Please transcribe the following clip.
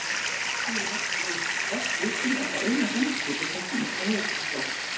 Að því er við best vitum er það eina geimskipið sem finnst á Höfuðborgarsvæðinu.